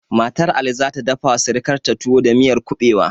Matar ali zata dafa wa sirikanta tuwo da miyar kuɓewa